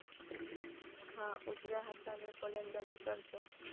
हा उजव्या हाताने फलंदाजी करतो.